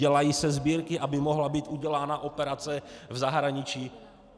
Dělají se sbírky, aby mohla být udělána operace v zahraničí.